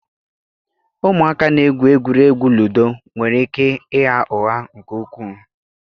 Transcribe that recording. Ụmụaka na-egwu egwuregwu ludo nwere ike ịgha ụgha nke ukwuu